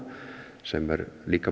sem er líka